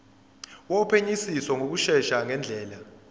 wophenyisiso ngokushesha ngendlela